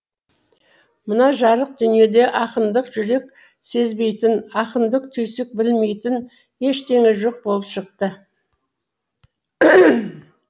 мына жарық дүниеде ақындық жүрек сезбейтін ақындық түйсік білмейтін ештеңе жоқ болып шықты